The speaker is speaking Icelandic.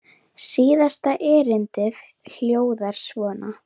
Síðasta erindið hljóðar svo